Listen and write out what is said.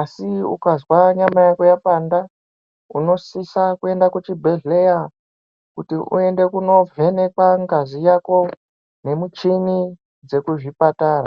Asi ukazwa nyama yako yapanda unosisa kuenda kuchibhedhleya kuti uende kunovhenekwa ngazi yako nemichini dzekuzvipatara.